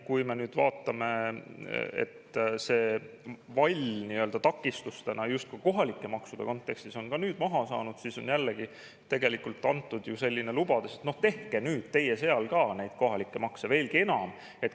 Kui me vaatame, et see vall, takistusena justkui kohalike maksude kontekstis, on nüüd maha saanud, siis on jällegi tegelikult antud selline lubadus, et tehke nüüd teie seal ka neid kohalikke makse veelgi enam.